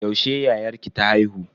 Yaushe yayarki ta haihu?